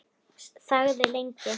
Þagði lengi.